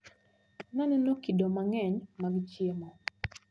Naneno kido mang`eny mag chiemo.